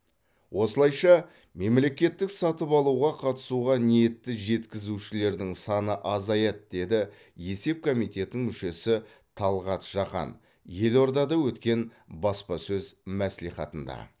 осылайша мемлекеттік сатып алуға қатысуға ниетті жеткізушілердің саны азаяды деді есеп комитетінің мүшесі талғат жақан елордада өткен баспасөз мәслихатында